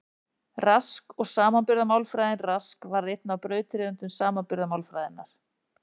Rask og samanburðarmálfræðin Rask varð einn af brautryðjendum samanburðarmálfræðinnar.